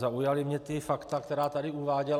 Zaujala mě ta fakta, která tady uváděl.